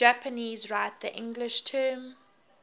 japanese write the english term